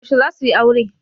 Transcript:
Yaushe za suyi aure?